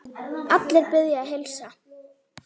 Allir biðja að heilsa.